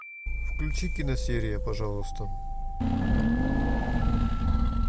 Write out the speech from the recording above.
включи киносерия пожалуйста